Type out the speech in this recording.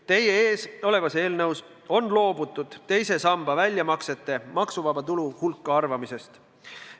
Teie ees olevas eelnõus on loobutud teise samba väljamaksete maksuvaba tulu hulka arvamisest.